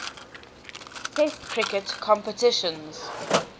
test cricket competitions